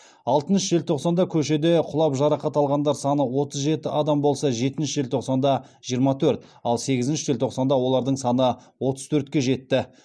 алтыншы желтоқсанда көшеде құлап жарақат алғандар саны отыз жеті адам болса жетінші желтоқсанда жиырма төрт ал сегізінші желтоқсанда олардың саны отыз төртке жетті